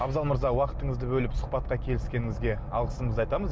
абзал мырза уақытыңызды бөліп сұхбатқа келіскеніңізге алғысымызды айтамыз